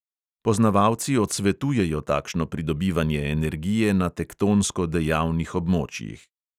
Poznavalci odsvetujejo takšno pridobivanje energije na tektonsko dejavnih območjih.